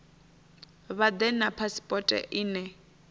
vha ḓe na phasipoto ine